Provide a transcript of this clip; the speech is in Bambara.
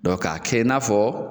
k'a kɛ i n'a fɔ